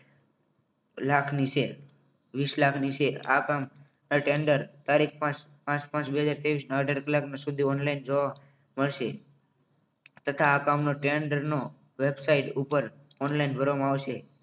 લાખની છે વિસ લાખની છે આ કામ tender તારીખ પાંચ પાંચ બે હજાર ત્રેવીસ ના અઢાર કલાક સુધી ઓનલાઇન જોવા મળશે તથા આ કામનો tender નો website ઉપર online ભરવામાં આવશે